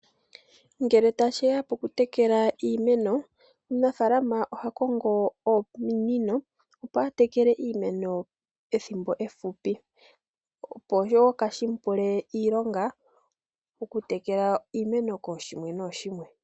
Ngele tashiya pokutekela iimeno, omunafaalama oha kongo ominino, opo a tekele iimeno ethimbo efupi. Opo wo kaashi mu pule iilonga, okutekela iimeno kooshimwe nooshimwe.